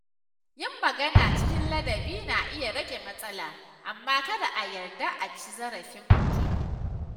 Yin magana cikin ladabi na iya rage matsala, amma kada a yarda a ci zarafin mutum.